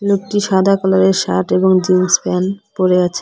লোকটি সাদা কালার এর শার্ট এবং জিন্স প্যান পরে আছে।